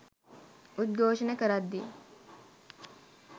උද්ඝෝෂණ කරද්දී